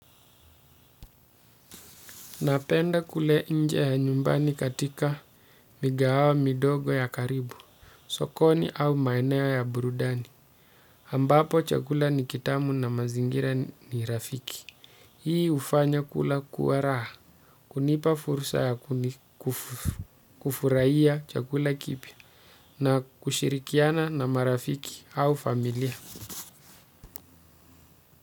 Napenda kule nje ya nyumbani katika migawa midogo ya karibu, sokoni au maeneo ya burudani. Ambapo chakula ni kitamu na mazingira ni rafiki. Hii hufanya kula kuwa raha, kunipa fursa ya kufurahia chakula kipya na kushirikiana na marafiki au familia.